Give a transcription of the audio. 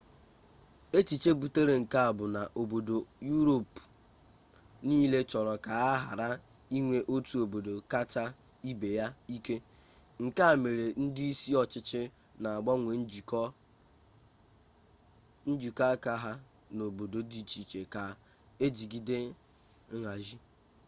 echiche butere nke a bụ na obodo yuropu niile chọrọ ka a ghara inwe otu obodo kacha ibe ya ike nke a mere ndị isi ọchịchị na-agbanwe njikọ aka ha n'obodo dị iche iche ka ejigide nhazi